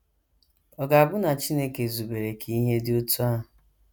Ọ̀ ga - abụ na Chineke zubere ka ihe dị otú ahụ?